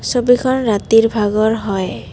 ছবিখন ৰাতিৰ ভাগৰ হয়।